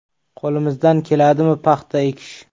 Qo‘limizdan keladimi paxta ekish?